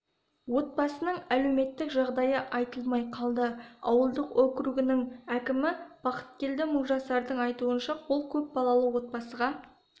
отбасының әлеуметтік жағдайы айтылмай қалды ауылдық округінің әкімі бақыткелді мыңжасардың айтуынша ол көпбалалы отбасыға